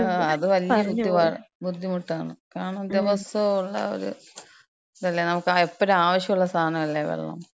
ഓ, അത് വല്യ ബുദ്ധിമുട്ടാ. ബുദ്ധിമുട്ടാണ്. അതാണ് ദിവസോള്ളൊരുത് തല്ലേ, നമക്ക് എപ്പഴും ആവശ്യള്ള സാനല്ലേ വെള്ളം.